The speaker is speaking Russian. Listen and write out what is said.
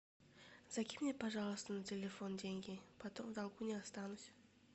закинь мне пожалуйста на телефон деньги потом в долгу не останусь